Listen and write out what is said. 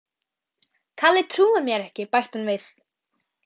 Kalli trúir mér ekki bætti hún við.